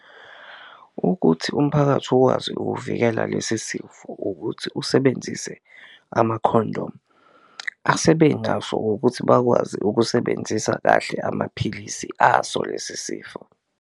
Ukuthi umphakathi ukwazi ukuvikela lesi sifo ukuthi usebenzise amakhondomu, asebenaso ukuthi bakwazi ukusebenzisa kahle amaphilisi aso lesi sifo.